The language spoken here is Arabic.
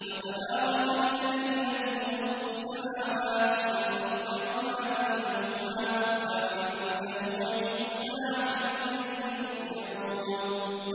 وَتَبَارَكَ الَّذِي لَهُ مُلْكُ السَّمَاوَاتِ وَالْأَرْضِ وَمَا بَيْنَهُمَا وَعِندَهُ عِلْمُ السَّاعَةِ وَإِلَيْهِ تُرْجَعُونَ